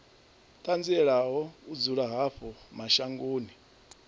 ṱanzielaho u dzula havho mashangoni